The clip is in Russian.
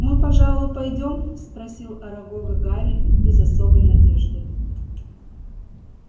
мы пожалуй пойдём спросил арагога гарри без особой надежды